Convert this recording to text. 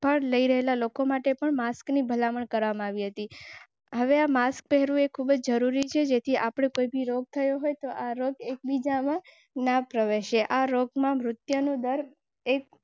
પર લઈ રહેલા લોકો માટે પણ માસ્કની ભલામણ કરવામાં આવી હતી. હવે માસ્ક પહેરવું એ ખૂબ જરૂરી છે જેથી આપણુ પર ભી રોગ થયો હોય તો આરોપી એકબીજાના પ્રવેશ હૈ આરોપમાં મૃત્યુદર એક.